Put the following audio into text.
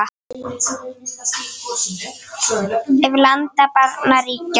Ef. landa barna ríkja